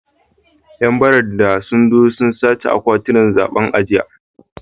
‘Yan barandan sun zo sun sace akwatunan zabe a jiya